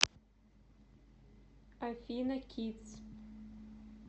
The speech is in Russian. афина кидс